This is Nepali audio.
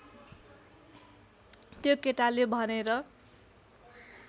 त्यो केटाले भनेर